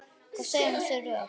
Hvað segirðu um þau rök?